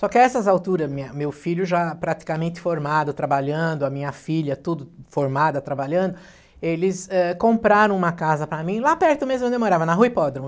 Só que a essas alturas, minha, meu filho já praticamente formado, trabalhando, a minha filha tudo formada, trabalhando, eles eh, compraram uma casa para mim lá perto mesmo onde eu morava, na Rua Hipódromo.